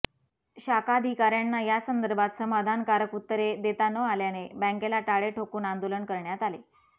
शाखाधिकाऱ्यांना यासंदर्भात समाधानकारक उत्तरे देता न आल्याने बॅंकेला टाळे ठोकून आंदोलन करण्यात आले